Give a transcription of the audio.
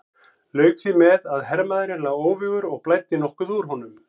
Lauk því með að hermaðurinn lá óvígur og blæddi nokkuð úr honum.